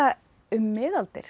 um miðaldir